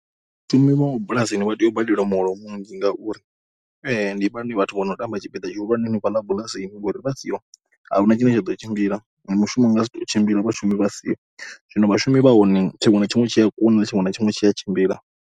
Vhashumi vha mabulasini vha tea u badeliwa muholo muzhi ngauri ndi vhone vhathu vho no tamba tshipiḓa tshihulwane henefhaḽa bulasini ngori vha siho, a hu na tshine tsha ḓo tshimbila. Na mushumo u nga si tou tshimbila vhashumi vha siho. Zwino vhashumi vha hone, tshiṅwe na tshiṅwe tshi a kunda, tshiṅwe na tshiṅwe tshi a tshimbila.